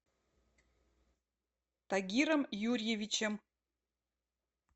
тагиром юрьевичем